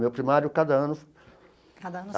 Meu primário, cada ano.